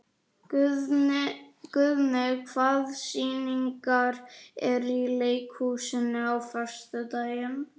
Guðni, hvaða sýningar eru í leikhúsinu á föstudaginn?